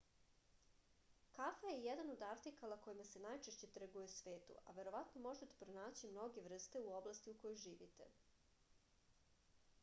kafa je jedan od artikala kojima se najčešće trguje u svetu a verovatno možete pronaći mnoge vrste u oblasti u kojoj živite